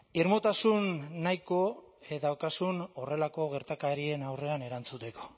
irmotasun nahiko daukazun horrelako gertakarien aurrean erantzuteko